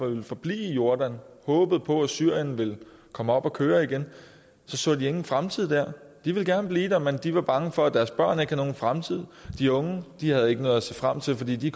ville forblive i jordan og håbede på at syrien ville komme op at køre igen så de ingen fremtid der de ville gerne blive der men de var bange for at deres børn ikke havde nogen fremtid de unge havde ikke noget at se frem til fordi de